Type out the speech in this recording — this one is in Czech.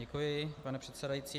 Děkuji, pane předsedající.